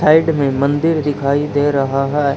Side में मंदिर दिखाई दे रहा है।